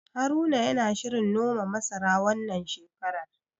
Haruna yana shirin noma masara, wannan shekarar.